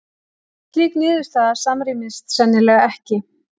Slík niðurstaða samrýmist sennilega ekki